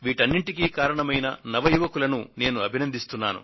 వీటన్నింటికీ కారణమైన నవ యువకులను నేను అభినందిస్తున్నా